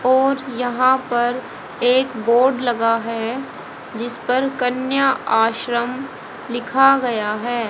और यहां पर एक बोर्ड लगा है जिस पर कन्या आश्रम लिखा गया है।